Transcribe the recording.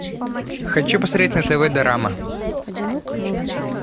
хочу посмотреть на тв дорама